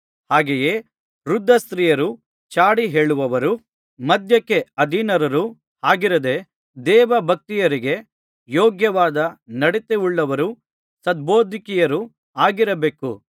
ಹಾಗೆಯೇ ವೃದ್ಧ ಸ್ತ್ರೀಯರು ಚಾಡಿಹೇಳುವವರೂ ಮದ್ಯಕ್ಕೆ ಅಧೀನರು ಆಗಿರದೆ ದೇವಭಕ್ತೆಯರಿಗೆ ಯೋಗ್ಯವಾದ ನಡತೆಯುಳ್ಳವರೂ ಸದ್ಬೋಧಕಿಯರು ಆಗಿರಬೇಕು